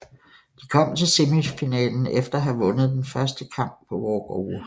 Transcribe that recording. De kom til semifinalen efter at have vundet den første kamp på walkover